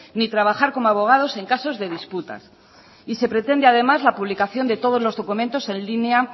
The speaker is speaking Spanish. ni trabajar como abogados en casos de disputas y se pretende además la publicación de todos los documentos en línea